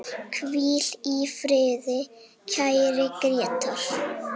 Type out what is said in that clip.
Hvíl í friði, kæri Grétar.